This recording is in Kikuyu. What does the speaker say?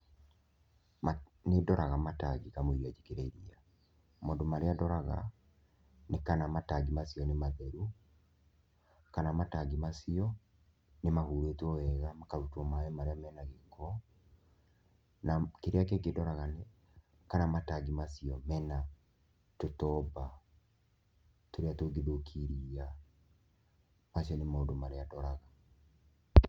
Nĩ ndoraga matangi kamũira njĩkĩre iria, maũndũ marĩa ndoraga nĩ kana matangi nĩ matheru, kana matangi macio nĩ mahurĩtwo wega makarutwo maĩ marĩa mena gĩko, na kĩrĩa kĩngĩ ndoraga nĩ kana matangi macio mena tũtomba tũrĩa tũngĩthũkia iria, macio nĩ maũndũ marĩa ndoraga.